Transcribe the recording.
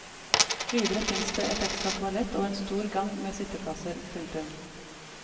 Videre fins det et ekstra toalett og en stor gang med sitteplasser. punktum